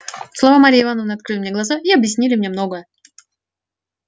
слова марьи ивановны открыли мне глаза и объяснили мне многое